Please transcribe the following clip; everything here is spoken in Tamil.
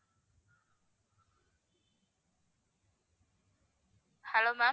hello ma'am